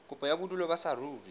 kopo ya bodulo ba saruri